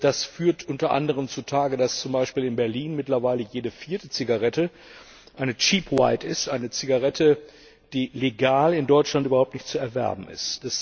Das fördert unter anderem zutage, dass zum Beispiel in Berlin mittlerweile jede vierte Zigarette eine cheap white ist, eine Zigarette, die legal in Deutschland überhaupt nicht zu erwerben ist.